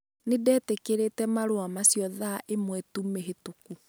Nĩ ndetĩkĩrĩte marũa macio thaa imwe tu mĩhĩtũku.